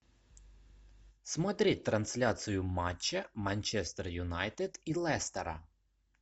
смотреть трансляцию матча манчестер юнайтед и лестера